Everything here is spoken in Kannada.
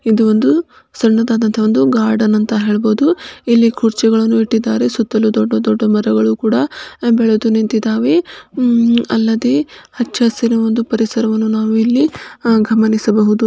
ಇದು ಒಂದು ಸಣ್ಣದಾದಂತ ಒಂದು ಗಾರ್ಡನ್ ಅಂತ ಹೇಳಬಹುದು ಇಲ್ಲಿ ಕುರ್ಚಿಗಳನ್ನು ಇಟ್ಟಿದ್ದಾರೆ ಸುತ್ತಲೂ ದೊಡ್ಡ ದೊಡ್ಡ ಮರಗಳು ಕೂಡ ಬೆಳೆದು ನಿಂತಿದ್ದಾವೆ ಅಲ್ಲದೆ ಅಚ್ಚಾ ಶಿರಾದ ಒಂದು ಪರಿಸರವನ್ನು ನಾವು ಗಮನಿಸಬಹುದು.